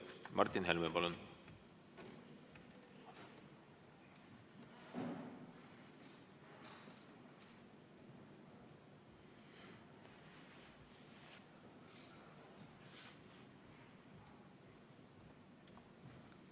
Martin Helme, palun!